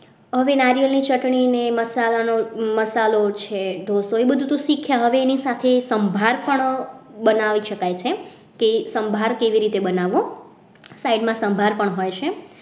હવે નાળિયેરની ચટણીને મસાલાનો મસાલો છે ઢોસો છે એ બધું તો શીખ્યા હવે એની સાથે સંભાર પણ બનાવે છે કે સંભાર કેવી રીતે બનાવવો સાઈડમાં સંભાર પણ હોય છે.